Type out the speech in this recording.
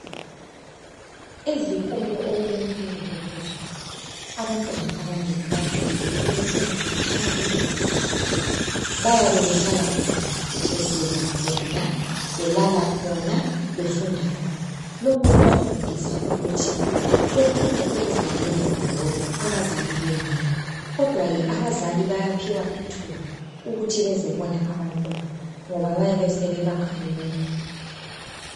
Izikolo okulefundo ephezulu, abantwana abanengi banjwayele ukufunda katshana kulabazali. Bayabe behlala khona, besidla khona, belala khona, befunda khona. Lokhu kubafundisa ukuthi befunde ukuzinakekele bodwa abazali bengekho. kodwakhe abazali bayaphiwa ithuba ukuthi bezobona abantwana, ngoba bayabe besebakhanuka.